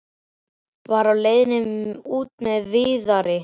Var á leiðinni út með Viðari.